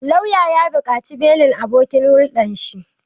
Lauyan ya buƙaci belin abokin hulɗan shi